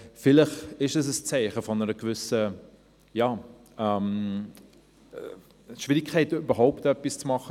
Vielleicht ist es ein Zeichen einer gewissen Schwierigkeit, etwas zu tun.